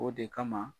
O de kama